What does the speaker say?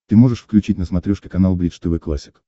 ты можешь включить на смотрешке канал бридж тв классик